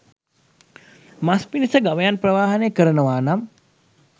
මස් පිණිස ගවයන් ප්‍රවාහනය කරනවා නම්